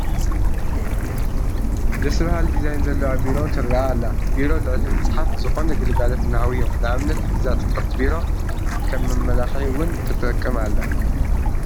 ደስ በሃሊ ዲዛይን ዘለዋ ቢሮ ትርአ ኣላ፡፡ ቢሮ ልዕሊ ምስሓፍ ዝኾነ ግልጋሎት እናሃቡ እዮም፡፡ ንኣብነት እዛ ፅብቕቲ ቢሮ ከም መመላክዒ እውን ትጠቅም እያ፡፡